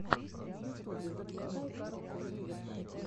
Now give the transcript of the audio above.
в ютубе запускай карлоса вивеса